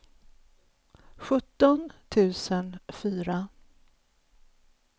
sjutton tusen fyra